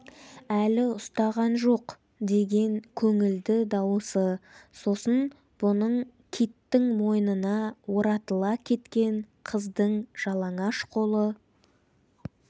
әлі ұстаған жоқ деген көңілді дауысы сосын бұның киттің мойнына оратыла кеткен қыздың жалаңаш қолы